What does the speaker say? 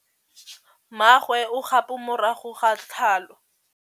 Mmagwe o kgapô morago ga tlhalô.